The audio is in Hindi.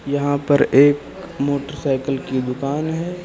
यहां पर एक मोटरसाइकिल की दुकान है।